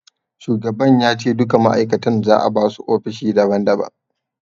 Shugaban ya ce duka ma'aikatan za'a basu ofishi daban daban.